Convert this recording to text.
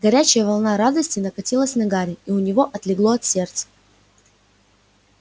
горячая волна радости накатилась на гарри и у него отлегло от сердца